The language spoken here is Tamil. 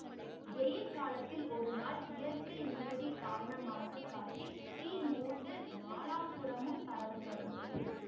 வெயிற் காலத்தில் ஒருநாள் இயற்கை நியதி காரணமாக காட்டில் தீ மூண்டு நாலாபுறமும் பரவ தொடங்கியது